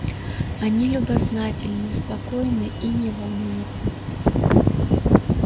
они любознательны спокойны и не волнуются